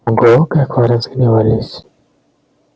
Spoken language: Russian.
ого как вы разгневались